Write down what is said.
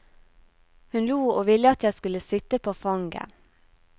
Hun lo og ville at jeg skulle sitte på fanget.